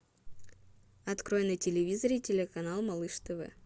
открой на телевизоре телеканал малыш тв